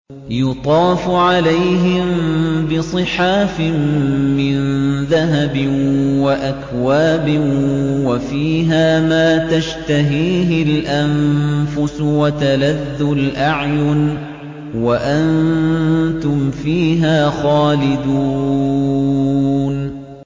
يُطَافُ عَلَيْهِم بِصِحَافٍ مِّن ذَهَبٍ وَأَكْوَابٍ ۖ وَفِيهَا مَا تَشْتَهِيهِ الْأَنفُسُ وَتَلَذُّ الْأَعْيُنُ ۖ وَأَنتُمْ فِيهَا خَالِدُونَ